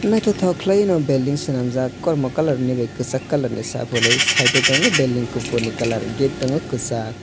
nythoktoke nw building swnamjaak kormo kalar by kwsak colour by abo ni pore site o tongo building kufur ni colour gate tongo kwsak.